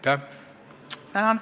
Tänan!